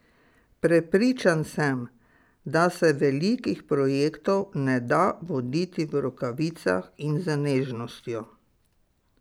Prepričan sem, da se velikih projektov ne da voditi v rokavicah in z nežnostjo.